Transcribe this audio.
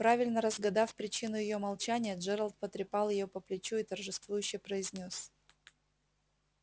правильно разгадав причину её молчания джералд потрепал её по плечу и торжествующе произнёс